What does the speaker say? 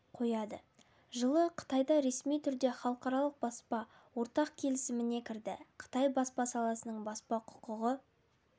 қояды жылы қытай ресми түрде халықаралық баспа ортақ келісіміне кірді қытай баспа саласының баспа құқығы